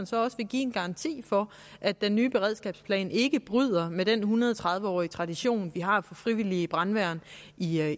så også vil give en garanti for at den nye beredskabsplan ikke bryder med den en hundrede og tredive årige tradition vi har for frivillige brandværn i